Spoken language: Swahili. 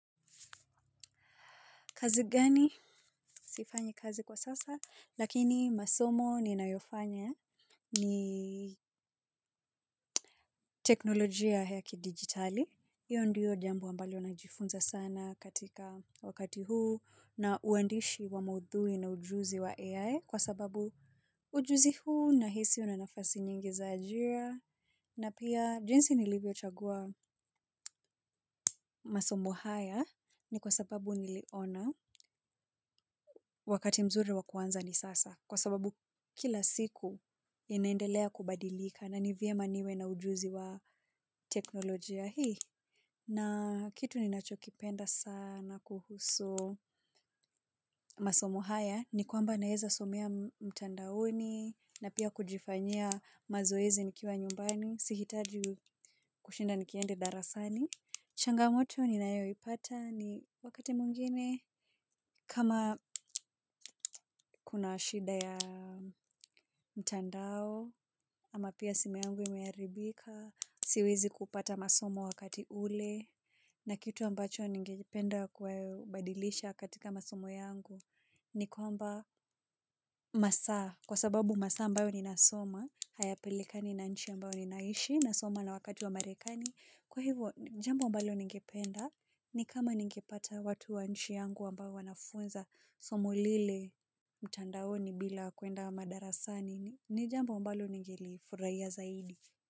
Kazi gani? Sifanyi kazi kwa sasa, lakini masomo ninayofanya ni teknolojia ya ki digitali. Hiyo ndiyo jambo ambalo najifunza sana katika wakati huu na uandishi wa maudhui na ujuzi wa AI kwa sababu ujuzi huu nahisi una nafasi nyingi za ajira. Na pia jinsi nilivyo chagua masomo haya ni kwa sababu niliona wakati mzuri wakuanza ni sasa. Kwa sababu kila siku inaendelea kubadilika na nivyema niwe na ujuzi wa teknolojia hii. Na kitu ninachokipenda sana kuhusu masomo haya ni kwamba naeza somea mtandaoni na pia kujifanya mazoezi nikiwa nyumbani. Sihitaji kushinda nikiende darasani. Changamoto ni nayo ipata ni wakati muingine kama kuna shida ya mtandao ama pia simu yangu imearibika siwezi kupata masomo wakati ule na kitu ambacho ningelipenda kwa badilisha katika masomo yangu ni kwamba masa kwa sababu masa ambayo ninasoma hayapelikani na nchi ambayo ninaishi nasoma na wakati wa marekani. Kwa hivo jambo mbalo ningependa ni kama ningepata watu wa nchi yangu wambao wanafunza somo lile mtandaoni bila kwenda wa madarasani ni jambo ambalo ningelifuraiya zaidi.